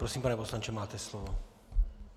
Prosím, pane poslanče, máte slovo.